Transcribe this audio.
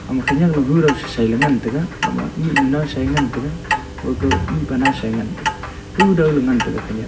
ama khenek law hudaw sasai ley ngan tega mihnu naosa a ngan tega ka know ka mihpa naosa ngan tega hudaw le ngan tega.